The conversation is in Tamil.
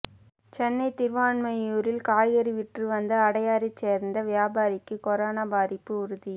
சென்னை திருவான்மியூரில் காய்கறி விற்று வந்த அடையாரைச் சேர்ந்த வியாபாரிக்கு கொரோனா பாதிப்பு உறுதி